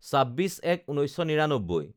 ২৬/০১/১৯৯৯